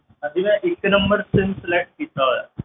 ਅਸੀਂ ਨਾ ਇੱਕ number sim select ਕੀਤਾ ਹੋਇਆ,